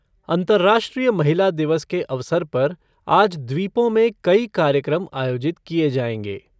अंतर्राष्ट्रीय महिला दिवस के अवसर पर आज द्वीपों में कई कार्यक्रम आयोजित किए जाएंगे।